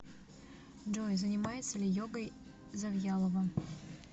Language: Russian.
джой занимается ли йогой завьялова